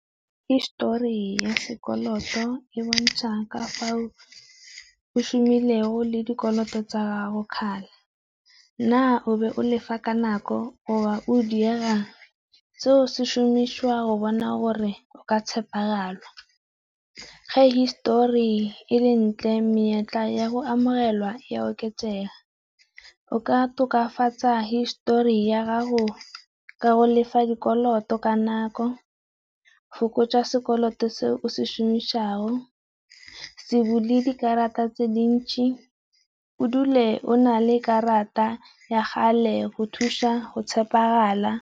Histori ya sekoloto e bontsha ka fa o shumilego le dikoloto tsa gago, na o be o lefa ka nako o di yang seo se šomišiwa go bona gore o ka tshepegala. Ge histori e le ntle menyetla ya go amogelwa ya oketsega, o ka tokafatsa histori ya gago ka go lefa dikoloto ka nako, fokotsa sekoloto se o se šomiša go, se bule dikarata tse dintsi o dule o na le karata ya gale go thusa go tshepegala.